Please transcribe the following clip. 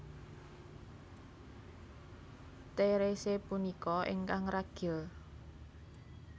Therese punika ingkang ragil